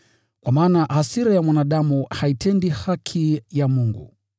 Kwa maana hasira ya mwanadamu haitendi haki ya Mungu.